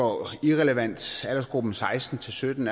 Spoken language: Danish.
irrelevant aldersgruppen seksten til sytten